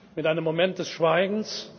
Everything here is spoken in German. mit einem Moment des Schweigens.